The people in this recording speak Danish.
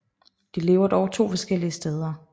De lever dog to forskellige steder